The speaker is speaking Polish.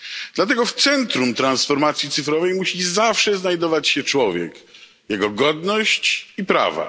Dlatego w centrum transformacji cyfrowej musi zawsze znajdować się człowiek, jego godność i prawa.